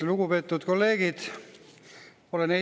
Lugupeetud kolleegid!